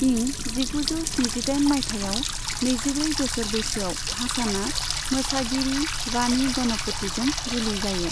इं जिगुजौ स्निजिदाइन माइथायाव नैजिब्रै बोसोर बैसोआव हासनआ मोसागिरि वाणी गणपतिजों जुलि जायो।